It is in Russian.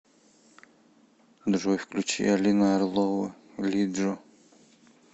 джой включи алина орлова лиджо